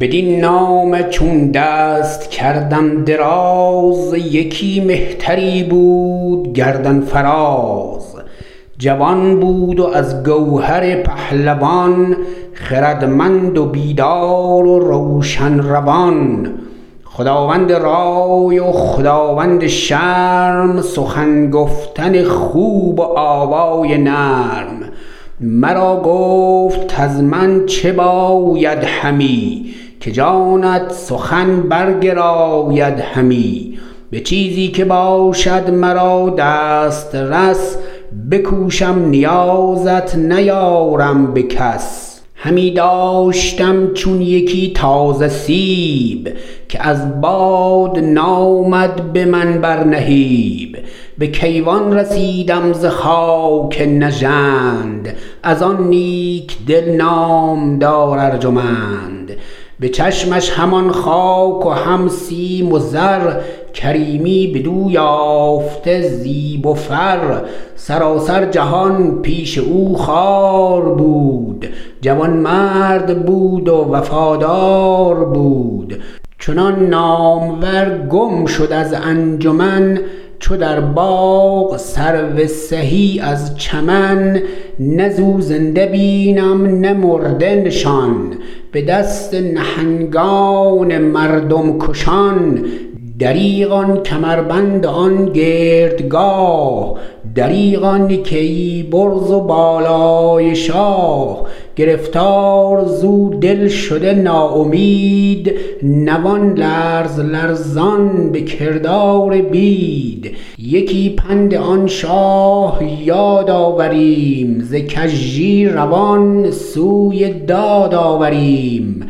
بدین نامه چون دست کردم دراز یکی مهتری بود گردن فراز جوان بود و از گوهر پهلوان خردمند و بیدار و روشن روان خداوند رای و خداوند شرم سخن گفتن خوب و آوای نرم مرا گفت کز من چه باید همی که جانت سخن برگراید همی به چیزی که باشد مرا دسترس بکوشم نیازت نیارم به کس همی داشتم چون یکی تازه سیب که از باد نامد به من بر نهیب به کیوان رسیدم ز خاک نژند از آن نیک دل نامدار ارجمند به چشمش همان خاک و هم سیم و زر کریمی بدو یافته زیب و فر سراسر جهان پیش او خوار بود جوانمرد بود و وفادار بود چنان نامور گم شد از انجمن چو در باغ سرو سهی از چمن نه ز او زنده بینم نه مرده نشان به دست نهنگان مردم کشان دریغ آن کمربند و آن گردگاه دریغ آن کیی برز و بالای شاه گرفتار ز او دل شده نا امید نوان لرز لرزان به کردار بید یکی پند آن شاه یاد آوریم ز کژی روان سوی داد آوریم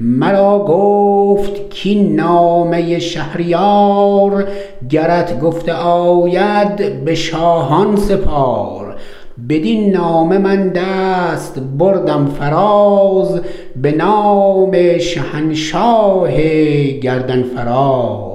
مرا گفت کاین نامه شهریار گرت گفته آید به شاهان سپار بدین نامه من دست بردم فراز به نام شهنشاه گردن فراز